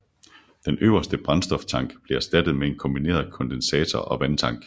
Den øverste brændstoftank blev erstattet med en kombineret kondensator og vandtank